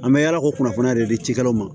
An bɛ yala ko kunnafoni de di cikɛlaw ma